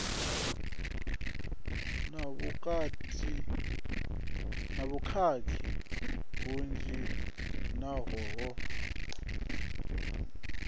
na vhukhakhi vhunzhi naho ho